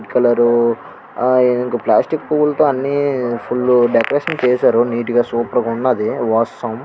Colour ఆ ఇంకా plastic పూలతో అన్ని ఫుల్ లు డెకరేషన్ చేశారు. నీట్ గా సూపర్ గా ఉన్నది.